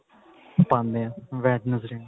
ਪਾਉਂਦੇ ਆ Wednesday ਨੂੰ